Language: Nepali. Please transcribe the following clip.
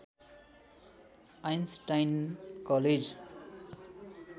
Einstein college